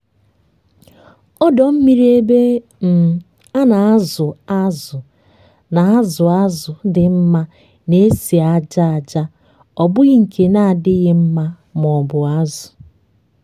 ọdọ mmiri ebe um a na-azụ azụ na-azụ azụ dị mma na-esi ájá aja ọ bụghị nke na-adịghị mma maọbụ azụ.